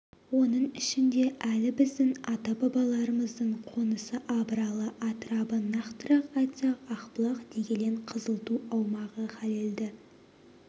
оның ішінде әлі біздің ата-бабаларымыздың қонысы абыралы атырабы нақтырақ айтсақ ақбұлақ дегелең қызылту аумағы халелді